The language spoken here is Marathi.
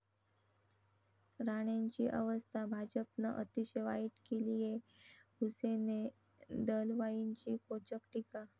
राणेंची अवस्था भाजपनं अतिशय वाईट केलीये, हुसेन दलवाईंची खोचक टीका